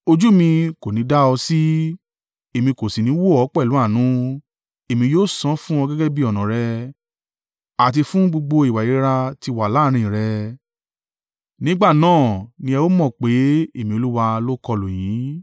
Ojú mi kò ní i dá ọ sí, Èmi kò sì ní wò ọ́ pẹ̀lú àánú; èmi yóò san án fún ọ gẹ́gẹ́ bí ọ̀nà rẹ àti fún gbogbo ìwà ìríra tí wà láàrín rẹ. “ ‘Nígbà náà ní ẹ o mọ̀ pé Èmi Olúwa lo kọlù yín.